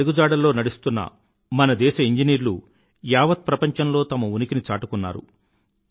వారి అడుగుజాడల్లో నడుస్తున్న మన దేశ ఇంజినీర్లు యావత్ ప్రపంచంలో తమ ఉనికిని చాటుకున్నారు